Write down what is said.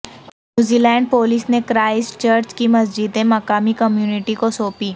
New Zealand police نے Christchurch کی مسجدیں مقامی کمیونٹی کو سونپی